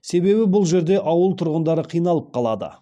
себебі бұл жерде ауыл тұрғындары қиналып қалады